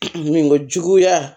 Min ka juguya